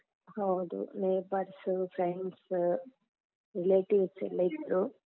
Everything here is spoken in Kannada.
ಹೌದು neighbours, friends, relatives ಎಲ್ಲಾ ಇದ್ರು.